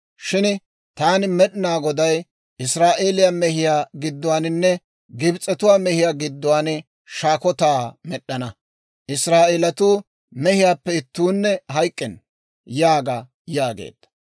Shin Taani Med'inaa Goday Israa'eeliyaa mehiyaa gidduwaaninne Gibs'etuwaa mehiyaa gidduwaan shaakotaa med'd'ana. Israa'eelatuu mehiyaappe ittuunne hayk'k'enna› yaaga» yaageedda.